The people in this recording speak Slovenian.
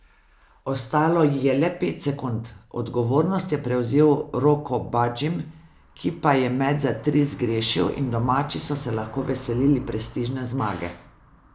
Ostalo ji je le pet sekund, odgovornost je prevzel Roko Badžim, ki pa je met za tri zgrešil in domači so se lahko veselili prestižne zmage.